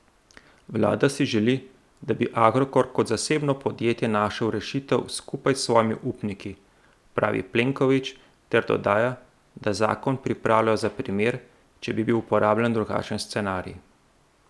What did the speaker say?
Vlada si želi, da bi Agrokor kot zasebno podjetje našel rešitev skupaj s svojimi upniki, pravi Plenković ter dodaja, da zakon pripravljajo za primer, če bi bil uporabljen drugačen scenarij.